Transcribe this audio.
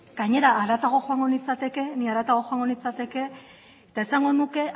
gainera haratago joango nintzateke eta esango nuke